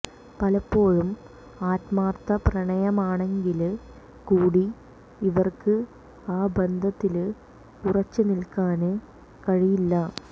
പലപ്പോഴും ആത്മാര്ത്ഥ പ്രണയമാണെങ്കില് കൂടി ഇവര്ക്ക് ആ ബന്ധത്തില് ഉറച്ച് നില്ക്കാന് കഴിയില്ല